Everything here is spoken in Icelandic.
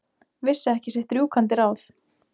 Vissi ekki sitt rjúkandi ráð.